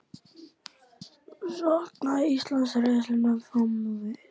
Saknaði Ísland reynslunnar fram á við?